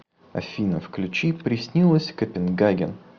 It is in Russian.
афина включи приснилось копенгаген